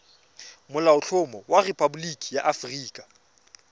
molaotlhomo wa rephaboliki ya aforika